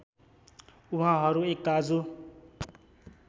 उहाँहरू एक दाजु